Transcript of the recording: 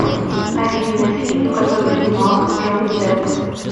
афина фильм в котором снимался джонни дэпп